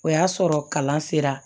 O y'a sɔrɔ kalan sera